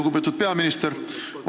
Lugupeetud peaminister!